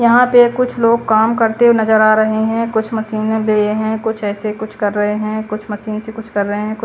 यहाँ पे कुछ लोग काम करते हुए नज़र आ रहे हैं कुछ मशीनें भी हैं कुछ ऐसे कुछ कर रहे हैं कुछ मशीन से कुछ कर रहे हैं कुछ --